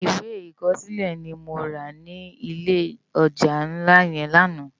Iwé ikòsilé ni mó rá ni ilé òjá nlá yèn làná